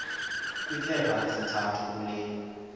kwiphepha lesithathu kule